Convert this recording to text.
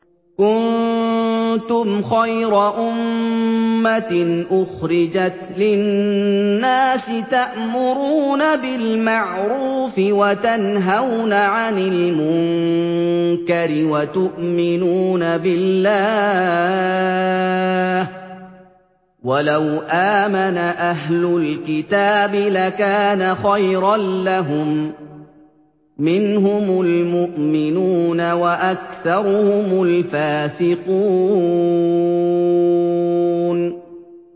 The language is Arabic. كُنتُمْ خَيْرَ أُمَّةٍ أُخْرِجَتْ لِلنَّاسِ تَأْمُرُونَ بِالْمَعْرُوفِ وَتَنْهَوْنَ عَنِ الْمُنكَرِ وَتُؤْمِنُونَ بِاللَّهِ ۗ وَلَوْ آمَنَ أَهْلُ الْكِتَابِ لَكَانَ خَيْرًا لَّهُم ۚ مِّنْهُمُ الْمُؤْمِنُونَ وَأَكْثَرُهُمُ الْفَاسِقُونَ